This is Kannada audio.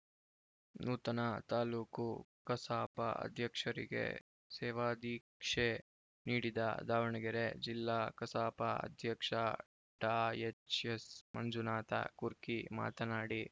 ನೂತನ ತಾಲೂಕು ಕಸಾಪ ಅಧ್ಯಕ್ಷರಿಗೆ ಸೇವಾದೀಕ್ಷೆ ನೀಡಿದ ದಾವಣಗೆರೆ ಜಿಲ್ಲಾ ಕಸಾಪ ಅಧ್ಯಕ್ಷ ಡಾ ಎಚ್‌ಎಸ್‌ ಮಂಜುನಾಥ ಕುರ್ಕಿ ಮಾತನಾಡಿ